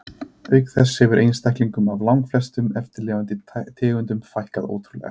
Auk þess hefur einstaklingum af langflestum eftirlifandi tegundum fækkað ótrúlega.